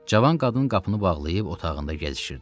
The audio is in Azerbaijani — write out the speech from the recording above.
Cavan qadın qapını bağlayıb otağında gəzişirdi.